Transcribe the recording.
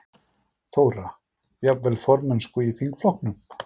Þóra: Jafnvel formennsku í þingflokknum?